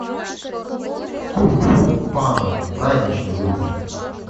кунг фу панда праздничный выпуск